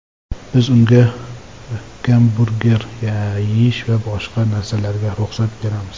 Biz unga gamburger yeyish va boshqa narsalarga ruxsat beramiz.